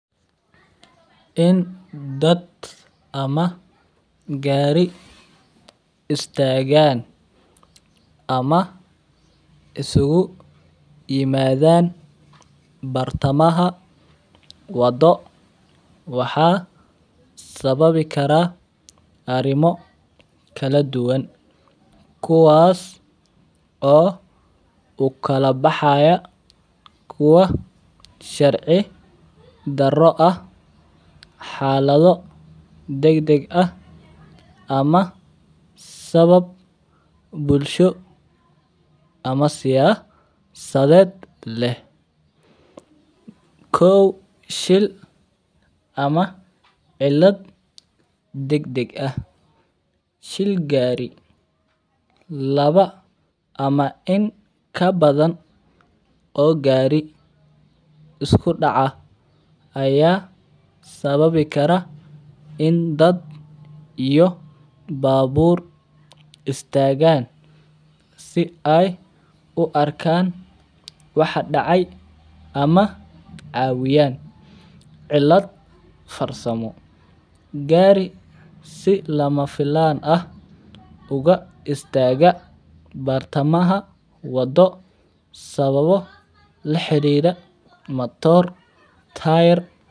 In dad ama gari istagan ama isugu imadhan bartamaha wado waxaa sawabi karaa arimo kala duwan kuwa oo ukala baxaya kuwa shaqo daro ah xaladho dag deg ah sawab bulsho am siyasadeed leh kow shil ama cidlaad dag dag ah shil gari lawa ama in kabadan oo gari isku daca aya sawabi karaa in dad iyo babur istagan si ee uarkan waxaa dacay ama cawiyan cidlaad farsamo, gari si lama filan aha uga istaga bartamadha wado laxirira mator tayar.